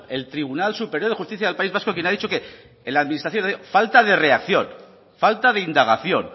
el tribunal superior de justicia del país vasco quien ha dicho que en la administración ha habido falta de reacción falta de indagación